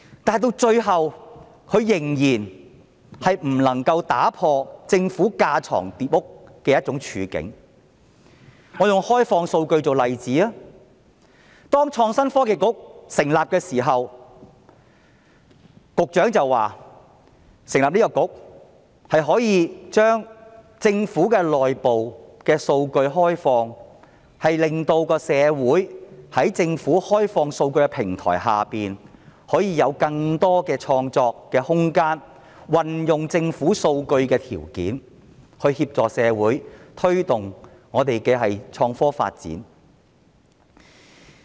但是，最後她仍然不能夠打破政府架床疊屋的處境。我以開放數據為例，當創科局成立時，時任局長表示，成立該局可以將政府內部數據開放，令社會在政府開放數據的平台下有更多的創作空間，以及運用政府數據的條件協助社會推動香港的創科發展。